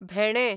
भेणे